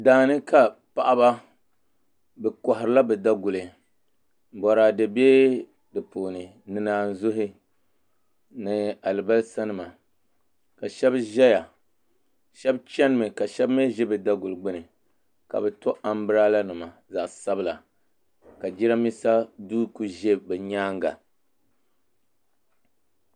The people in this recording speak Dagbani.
Daani ka paɣaba bi koharila bi daguli boraadɛ bɛ di puuni ni naazuhi ni alibarisa nima ka shab ʒɛya shab chɛnimi ka shab mii ʒi bi daguli gbuni ka bi to anbirala nima zaɣ sabila ka jiranbiisa duu ku ʒɛ bi nyaanga